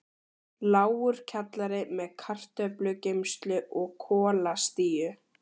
Lágur kjallari með kartöflugeymslu og kolastíu.